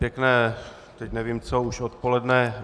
Pěkné - teď nevím co, už odpoledne.